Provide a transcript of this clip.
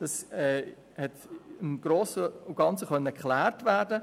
Das konnte im Grossen und Ganzen geklärt werden.